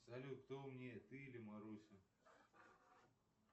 салют кто умнее ты или маруся